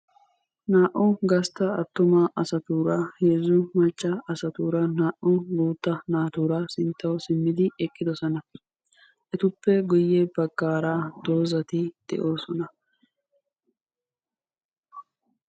Naa"u gastta attuma asatuura, heezzu macca asatuura, naa"u guutta naatuura sinttawu simmidi eqqidosona. Etuppe guye baggara dozati de'oosona.